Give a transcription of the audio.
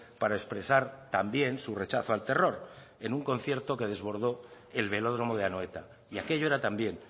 para expresar también su rechazo al terror en un concierto que desbordó el velódromo de anoeta y aquello era también